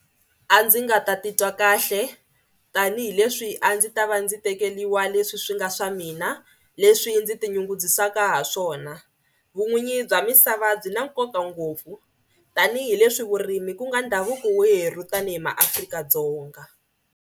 A ndzi nga ta titwa kahle tanihileswi a ndzi ta va ndzi tekeriwa leswi swi nga swa mina leswi ndzi tinyungubyisaka ha swona. Vun'winyi bya misava byi na nkoka ngopfu tanihileswi vurimi ku nga ndhavuko werhu tanihi maAfrika-Dzonga.